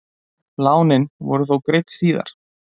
lánin voru þó greidd síðar